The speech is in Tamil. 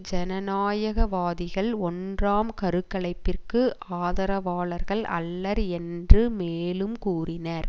ஜனநாயகவாதிகள் ஒன்றாம் கருக்கலைப்பிற்கு ஆதரவாளர்கள் அல்லர் என்று மேலும் கூறினார்